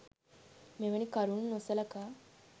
මෙවැනි කරුණු නොසලකා